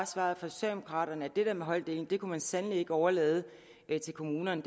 svaret fra socialdemokraterne at det med holddeling kan man sandelig ikke overlade til kommunerne